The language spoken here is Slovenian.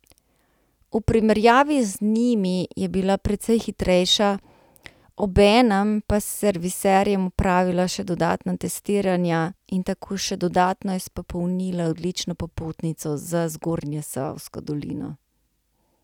V primerjavi z njimi je bila precej hitrejša, obenem pa s serviserjem opravila še dodatna testiranja in tako še dodatno izpopolnila odlično popotnico za v Zgornjesavsko dolino.